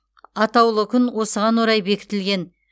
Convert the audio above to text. атаулы күн осыған орай бекітілген